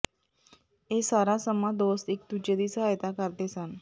ਇਹ ਸਾਰਾ ਸਮਾਂ ਦੋਸਤ ਇਕ ਦੂਜੇ ਦੀ ਸਹਾਇਤਾ ਕਰਦੇ ਸਨ